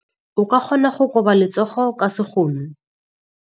O ka kgona go koba letsogo ka sekgono.